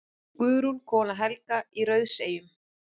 Guðrún, kona Helga í Rauðseyjum.